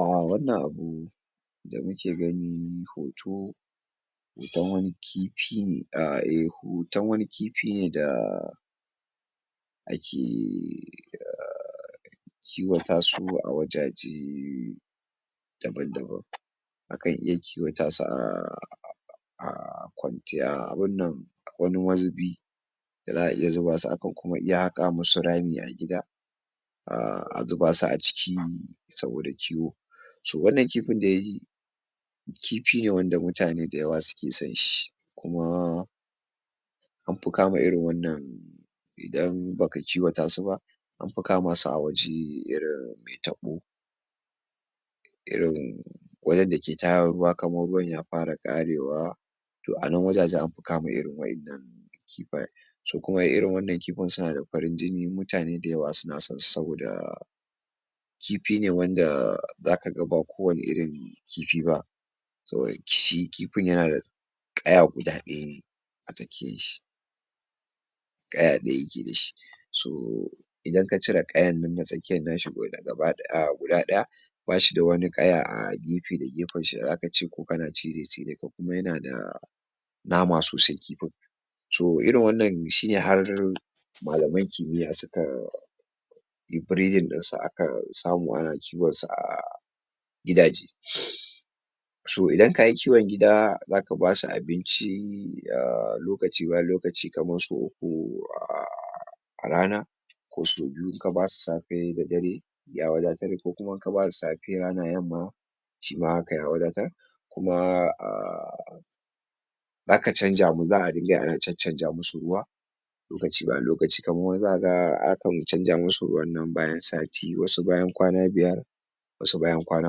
A wannan abu da kuke gani hoto hoton wani kifi a eh hoton wani kifi ne da ake a kiwata su a wajaje daban-daban akan iya kiwata su a a kwantiya abin nan wani mazubi za a iya zuba su haka ko a haƙa musu rami a gida ah a zuba su a ciki saboda kiwo to wannan kifin dai kifi ne wanda mutane da yawa suke san shi kuma an fi kama irin wannan idan ba ka kiwata su ba an fi kama su a wuri irin mai taɓo irin wajen da ke tara ruwa kafin ruwan ya fara ƙarewa to a nan wajajen kama irin waɗannan kifayen su kuma irin wannan kifin suna da farin jini mutane da yawa suna san su saboda kifi ne wanda zaka ga ba kowane irin kifi ba saboda shi kifin yana da ƙaya guda ɗaya ne a cikin shi ƙaya ɗaya yake da shi su idan ka cire ƙayar nan ta tsakiyar nan guda ɗaya ba shi da wata ƙaya a gefe da gefen shi da zaka ce ko kana ci zai tsire ka kuma yana da nama sosai to irin wannan shi ne har malaman kimiya sukan in breading akan samu a kiwan su a gidaje to idan ka yi kiwan gida zaka ba su abinci a daga lokci bayan lokaci kamar sau uku ko a rana ko sau biyu ka basu safe da dare ya wadatar in kuma ka basu safe, rana da yamma shi ma haka ya wadatar kuma a zaka canja abun za a riƙa yi ana canja musu ruwa lokaci zuwa lokaci dan wasu zaka ga akan canja musu nan ruwa bayan sati wasu bayan kwana biyar wasu bayan kwana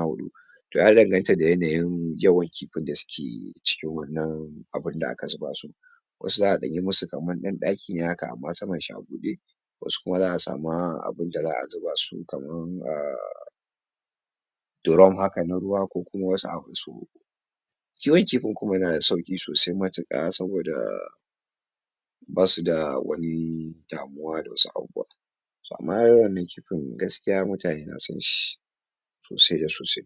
huɗu ya danganta da yanayin yawan kifin da suke cikin wannan abin da aka zuba su wasu za a ɗan yi musu ɗan ɗaki ne amma samansa a buɗe wasu kuma za a nemi abin da za a zuba kamar a durom haka na ruwa ko kuma wani abu kiwan kifin kuma yana da sauƙi sosai matuƙa saboda ba su da wani damuwa da wasu abubuwa amman wannan kifin gaskiya mutane na san shi sosai da sosai